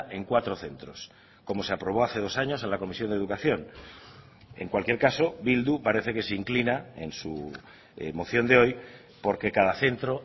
en cuatro centros como se aprobó hace dos años en la comisión de educación en cualquier caso bildu parece que se inclina en su moción de hoy porque cada centro